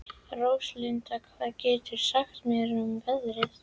Róslinda, hvað geturðu sagt mér um veðrið?